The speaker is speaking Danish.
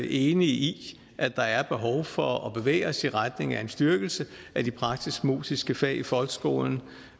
enige i at der er behov for at vi bevæger os i retning af en styrkelse af de praktisk musiske fag i folkeskolen